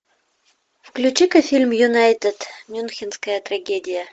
включи ка фильм юнайтед мюнхенская трагедия